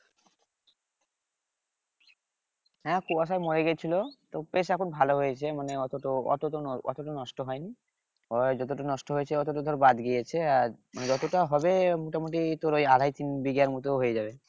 হ্যাঁ কুয়াশায় মরে গেছিল তো বেশ এখন ভালো হয়েছে মানে অত তো অত তো অত তো নষ্ট হয়নি ওই যতটুক নষ্ট হয়েছে ততটুক ধর বাদ গিয়েছে আর মানে যতটা হবে মোটামুটি তোর ওই আড়ায় তিন বিঘার মত হয়ে যাবে